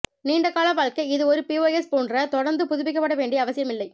நீண்ட கால வாழ்க்கை இது ஒரு பிஓஎஸ் போன்ற தொடர்ந்து புதுப்பிக்கப்பட வேண்டிய அவசியமில்லை